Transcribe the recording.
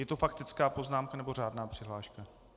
Je to faktická poznámka, nebo řádná přihláška?